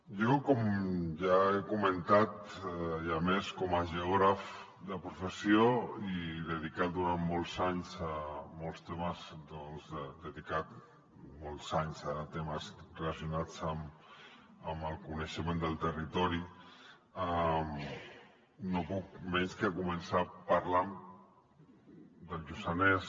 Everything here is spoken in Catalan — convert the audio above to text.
jo com ja he comentat i a més com a geògraf de professió i dedicat durant molts anys a molts temes dedicat molts anys a temes relacionats amb el coneixement del territori no puc menys que començar parlant del lluçanès